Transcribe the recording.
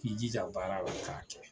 K'i jija o baara la ka kɛ.